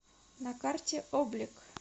на карте облик